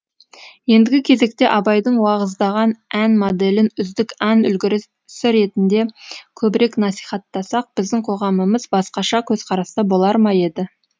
ендігі кезекте абайдың уағыздаған ән моделін үздік ән үлгісі ретінде көбірек насихаттасақ біздің қоғамымыз басқаша көзқараста болар ма еді